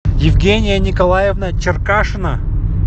евгения николаевна черкашина